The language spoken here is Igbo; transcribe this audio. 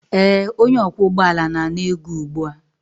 ee, onye ọkwọ ụgbọ ala na-ana ego ugbu a